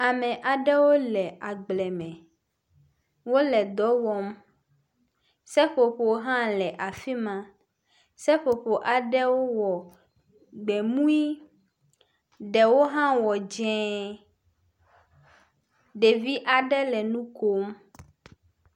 Ame aɖewo le agble me. Wole dɔ wɔm. Seƒoƒo hã le afi ma. Seƒoƒo aɖewo wɔ gbemui, ɖewo hã wɔ dzɛ̃, ɖevi aɖe le nu kom.